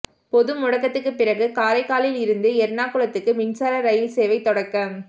பொது முடக்கத்துக்குப் பிறகு காரைக்காலில் இருந்து எா்ணாகுளத்துக்கு மின்சார ரயில் சேவை தொடக்கம்